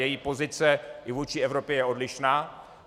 Její pozice i vůči Evropě je odlišná.